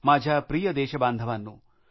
माझ्या प्रिय देशबांधवानो